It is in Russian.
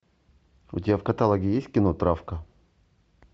у тебя в каталоге есть кино травка